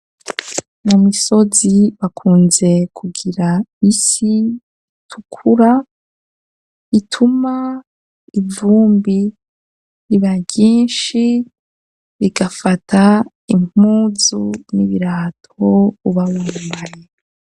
Mu misozi bakunze kugira isi tukura, ituma ivumbi ibaryinshi bigafata impuzu n'ibirato uba wambaye.